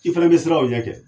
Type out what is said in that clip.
I fana bɛ siran o ɲɛ kɛ